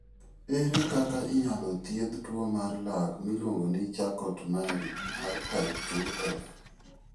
Ere kaka inyalo thiedh tuwo mar lak miluongo ni Charcot Marie mar type 2F?